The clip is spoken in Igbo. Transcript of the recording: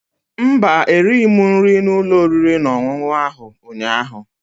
Mba, erighị m nri n'ụlọ oriri na ọṅụṅụ ahụ ụnyaahụ